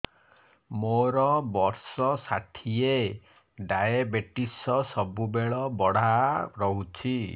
ମୋର ବର୍ଷ ଷାଠିଏ ଡାଏବେଟିସ ସବୁବେଳ ବଢ଼ା ରହୁଛି